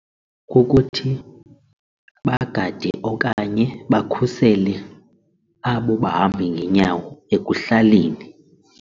Kukuthi bagade okanye bakhusele abo bahambi ngeenyawo ekuhlaleni.